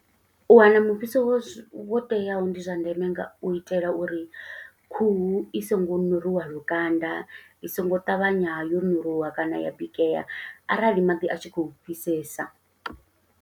U wana mufhiso wo teaho, ndi zwa ndeme nga u itela uri khuhu i songo ṋuruwa lukanda, i songo ṱavhanya yo ṋuluwa kana ya bikea, arali maḓi a tshi khou fhisesa.